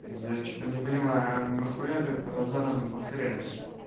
я что-то не понимаю а нахуя ты это раз за разом повторяешь